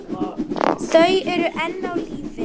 Þau eru enn á lífi.